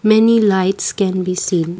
many lights can be seen.